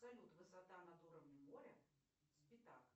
салют высота над уровнем моря спитак